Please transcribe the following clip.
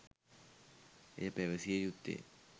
එය පැවසිය යුත්තේ